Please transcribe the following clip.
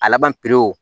A laban pewu